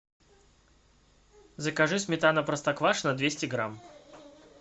закажи сметана простоквашино двести грамм